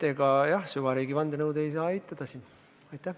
Ega jah, süvariigi vandenõu ei saa siin eitada.